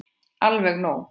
Alveg nóg.